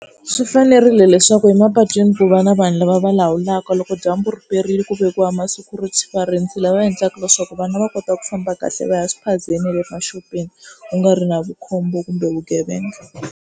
Swi fanerile leswaku emapatwini ku va na vanhu lava va lawulaka loko dyambu riperile ku vekiwa ma-security varindzi lava endlaka leswaku vana va kota ku famba kahle va ya swiphazeni na le maxopeni ku nga ri na vukhombo kumbe vugevenga.